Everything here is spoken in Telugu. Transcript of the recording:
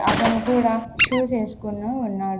అతను కూడా షూస్ వేసుకుని ఉన్నాడు.